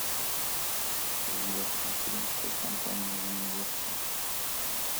сбер материнская компания юниверсал